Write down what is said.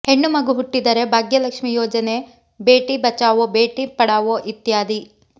ಹೆಣ್ಣು ಮಗು ಹುಟ್ಟಿದರೆ ಭಾಗ್ಯಲಕ್ಷ್ಮಿ ಯೋಜನೆ ಬೇಟಿ ಬಚಾವೋ ಬೇಟಿ ಪಡಾವೋ ಇತ್ಯಾದಿ